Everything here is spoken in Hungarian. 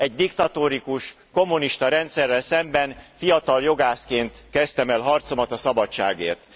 Egy diktatórikus, kommunista rendszerrel szemben fiatal jogászként kezdtem el harcomat a szabadságért.